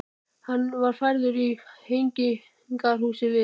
Hann var færður í Hegningarhúsið við